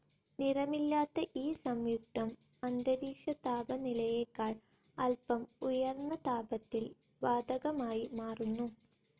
നിറമില്ലാത്ത ഈ സംയുക്തം അന്തരീക്ഷ താപനിലയേക്കാൾ അൽപ്പം ഉയർന്ന താപത്തിൽ വാതകമായി മാറുന്നു.